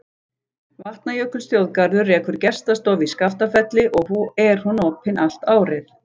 Vatnajökulsþjóðgarður rekur gestastofu í Skaftafelli og er hún opin allt árið.